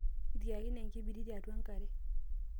tieakine enkibiriti atua enkare